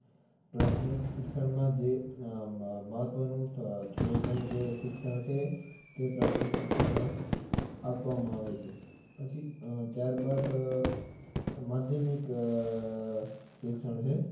પ્રાથમિક શિક્ષણમાં જે આહ અમ મહત્વનું આહ થોડું ઘણું જે શિક્ષણ છે. તે પ્રાથમિક શિક્ષણમાં આપવામાં આવે છે. પછી આહ ત્યાર બાદ આહ માધ્યમિક આહ શિક્ષણ છે